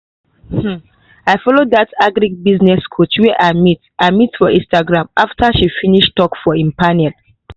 um i follow dat agribusiness coach wey i meet i meet for instagram after she finish talk for im panel.